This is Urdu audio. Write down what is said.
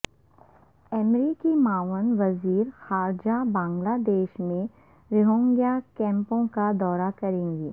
امریکی معاون وزیر خارجہ بنگلہ دیش میں روہنگیا کیمپوں کا دورہ کریں گی